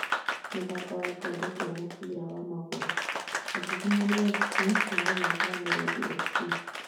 mũthako wa gĩkombe kĩa mũbĩra wa magũru: Agiginyani FC maguthaka na Miruthi FC